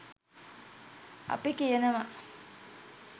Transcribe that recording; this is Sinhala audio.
අපි කියනවා